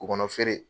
K'u kɔnɔ feere